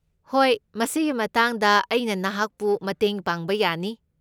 ꯍꯣꯏ, ꯃꯁꯤꯒꯤ ꯃꯇꯥꯡꯗ ꯑꯩꯅ ꯅꯍꯥꯛꯄꯨ ꯃꯇꯦꯡ ꯄꯥꯡꯕ ꯌꯥꯅꯤ꯫